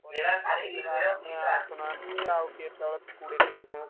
ପିଲା ଆସୁନାହାନ୍ତି ଆଉ କେତବେଳେ କୋଡିଏ ତିରିଶି ଜଣ ପିଲା।